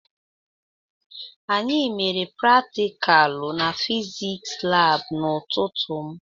Anyị mere praticalu n'fiziks lab n'ututu m